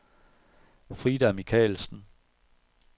Frida Michaelsen